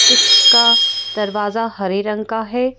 जिसका दरवाजा हरे रंग का है।